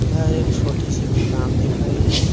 यह एक छोटी-सी दुकान दिख रही है।